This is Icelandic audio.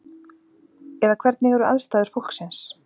Eða hvernig eru aðstæður fólksins?